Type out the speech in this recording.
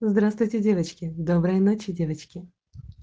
здравствуйте девочки доброй ночи девочки